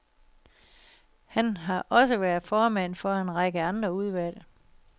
Han har også været formand for en række andre udvalg.